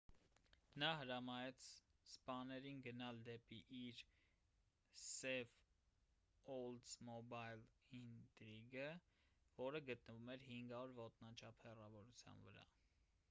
նա հրամայեց սպաներին գնալ դեպի իր սև օլդսմոբայլ ինտրիգը որը գտնվում էր 500 ոտնաչափ հեռավորության վրա